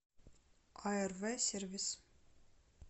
арв сервис